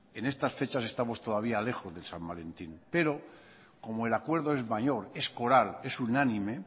en estas fechas estamos todavía lejos de san valentín pero como el acuerdo es mayor es coral es unánime